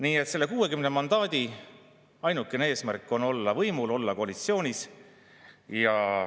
Nii et selle 60 mandaadi ainukene eesmärk on olla võimul, olla koalitsioonis.